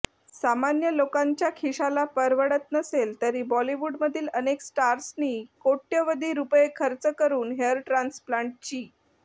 सामान्य लोकांच्या खिशाला परवडत नसेल तरी बॉलीवूडमधील अनेक स्टार्सनी कोट्यवधी रुपये खर्च करून हेअर ट्रान्सप्लांटची